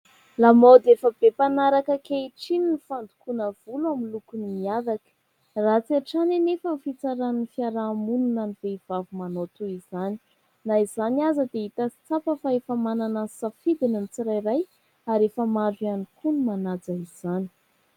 Lamaody efa be panaraka ankehitriny ny fandokoana volo amin'ny loko miavaka. Ratsy hatrany anefa ny fitsaran'ny fiarahamonina ny vehivavy manao toy izany. Na izany aza dia hita sy tsapa fa efa manana ny safidiny ny tsirairay ary efa maro ihany koa ny manaja izany.